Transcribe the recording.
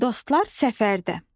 Dostlar səfərdə.